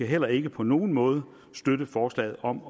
heller ikke på nogen måde støtte forslaget om